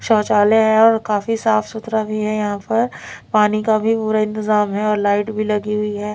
शौचालय है और काफी साफ सुथरा भी है यहां पर पानी का भी पूरा इंतजाम है और लाइट भी लगी हुई है।